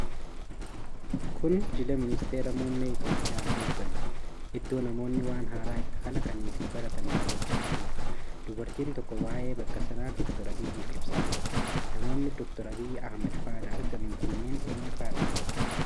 Kun jila Ministiira Muummee Itoophiyaan hooganamu Iddoo namoonni waan haaraa itti kalaqanii fi baratan daawwachaa jirudha. Dubartiin tokko waa'ee bakka sanaa Dr Abiyyiif ibsaa jirti. Namoonni Dr Abiy Ahimad faana argaman kunneen eenyu faadha?